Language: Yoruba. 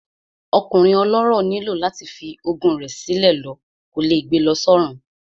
Ọkùnrin ọlọ́rọ̀ nílò láti fi ogún rẹ̀ sí lọ, kò lè gbe lọ sọ́run